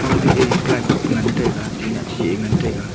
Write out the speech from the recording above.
fangtoe ply board pengan taiga tinna chihe ngan taiga.